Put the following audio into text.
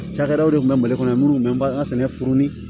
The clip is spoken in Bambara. Cakɛdaw de tun bɛ mali kɔnɔ minnu bɛ an ka sɛnɛfuruni